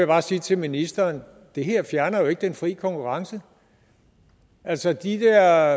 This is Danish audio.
bare sige til ministeren det her fjerner jo ikke den fri konkurrence altså de der